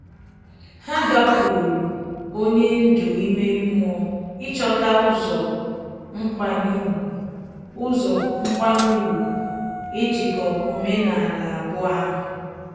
Ha gakwuru onye ndú ime mmụọ ịchọta ụzọ nkwanye ùgwù ụzọ nkwanye ùgwù ijikọ omenala abụọ ahu